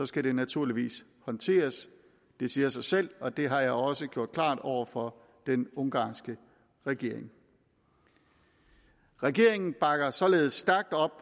skal det naturligvis håndteres det siger sig selv og det har jeg også gjort klart over for den ungarske regering regeringen bakker således stærkt op